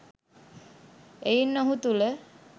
එයින් ඔහු තුළ